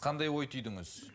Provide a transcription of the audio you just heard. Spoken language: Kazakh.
қандай ой түйдіңіз